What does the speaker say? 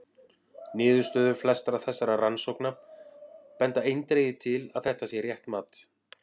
Niðurstöður flestra þessara rannsókna benda eindregið til að þetta sé rétt mat.